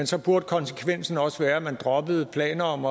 så burde konsekvensen også være at man droppede planer om